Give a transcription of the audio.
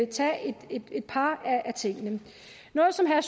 tage et par af tingene noget som herre